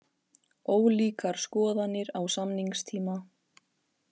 Ólíkar skoðanir á samningstíma